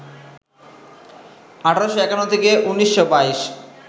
১৮৫১ থেকে ১৯২২